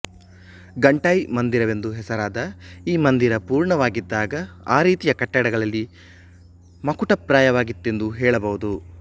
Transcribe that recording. ಘಂಟೈ ಮಂದಿರವೆಂದು ಹೆಸರಾದ ಈ ಮಂದಿರ ಪೂರ್ಣವಾಗಿದ್ದಾಗ ಆ ರೀತಿಯ ಕಟ್ಟಡಗಳಲ್ಲಿ ಮಕುಟಪ್ರಾಯವಾಗಿತ್ತೆಂದು ಹೇಳಬಹುದು